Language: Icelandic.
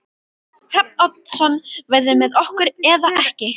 Hrafn Oddsson verður með okkur eða ekki.